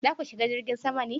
za ku shiga jirgin sama ne?